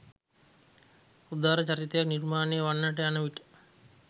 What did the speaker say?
උදාර චරිතයක් නිර්මාණය වන්නට යන විට